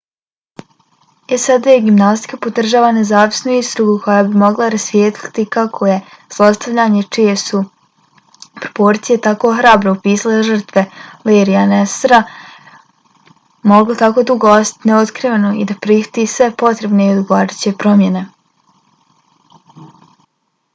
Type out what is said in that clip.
sad gimnastika podržava nezavisnu istragu koja bi mogla rasvijetliti kako je zlostavljanje čije su proporcije tako hrabro opisale žrtve larryja nassara moglo tako dugo ostati neotkriveno i da prihvati sve potrebne i odgovarajuće promjene